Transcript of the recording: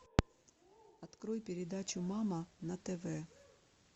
открой передачу мама на тв